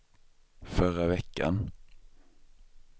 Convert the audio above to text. förra veckan